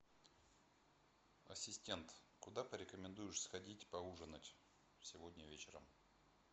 ассистент куда порекомендуешь сходить поужинать сегодня вечером